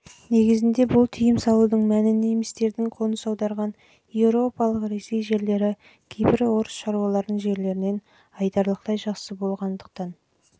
негізінде бұл тыйым салудың мәні немістердің қоныс аударған еуропалық ресей жерлері кейбір орыс шаруалардың жерлерінен айтарлықтай